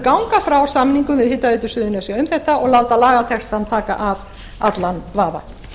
ganga frá samningum við hitaveitu suðurnesja um þetta og láta lagatextann taka af allan vafa